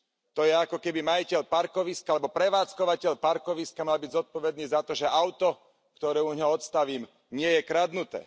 To je ako keby majiteľ parkoviska alebo prevádzkovateľ parkoviska mal byť zodpovedný za to, že auto, ktoré u neho odstavím, nie je kradnuté.